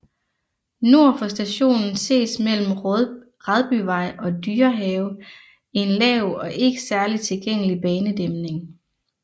Nord for stationen ses mellem Radbyvej og Dyrehave en lav og ikke særlig tilgængelig banedæmning